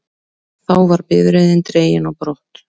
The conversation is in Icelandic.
Þá var bifreiðin dregin á brott